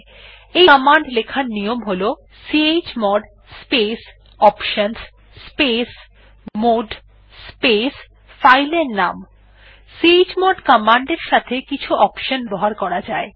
ইআই command লেখার নিয়ম হল chmod space options space mode space file এর নাম চমোড কমান্ড এর সাথে কিছু অপশন ব্যবহার করা যায়